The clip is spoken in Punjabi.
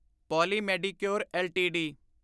poly Medicure LTD